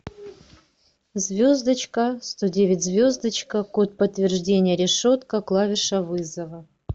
звездочка сто девять звездочка код подтверждения решетка клавиша вызова